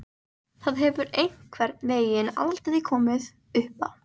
Það hefur einhvern veginn aldrei komið uppá.